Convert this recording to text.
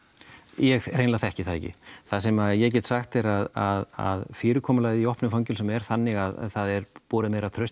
ég hreinlega þekki það ekki það sem ég get sagt þér er að fyrirkomulagið í opnum fangelsum er þannig að það er borið meira traust